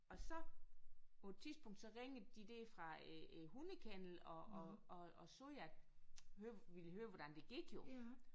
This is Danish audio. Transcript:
Og så på et tidspunkt så ringede de der fra øh hundekennelen og og og og sagde at hø ville høre hvordan det gik jo